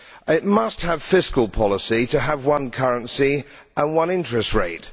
It must have fiscal policy to have one currency and one interest rate.